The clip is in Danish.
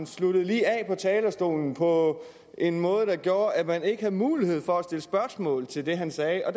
sluttede af på talerstolen på en måde der gjorde at man ikke havde mulighed for at stille spørgsmål til det han sagde og